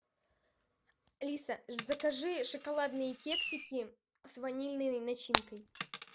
алиса закажи шоколадные кексики с ванильной начинкой